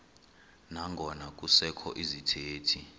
nangona kusekho izithethi